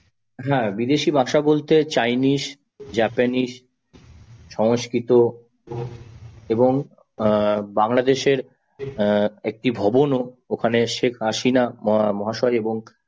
হ্যাঁ বিদেশি ভাষা বলতে chinese, japanese সংস্কৃত এবং বাংলাদেশের একটি ভবনও শেখ হাসিনা মহাশয় এবং